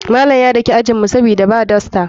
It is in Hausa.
Malam ya daki ajinmu sabida ba dasta.